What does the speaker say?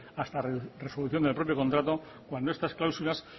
hasta la resolución del propio contrato cuando a estas cláusulas